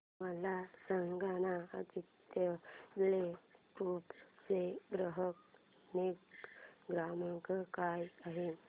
मला सांगाना आदित्य बिर्ला ग्रुप चा ग्राहक निगा क्रमांक काय आहे